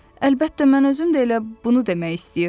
Əlbəttə, mən özüm də elə bunu demək istəyirdim.